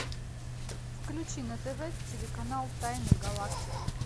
включи на тв телеканал тайны галактики